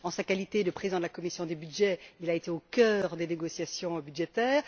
En sa qualité de président de la commission des budgets, il a été au cœur des négociations budgétaires.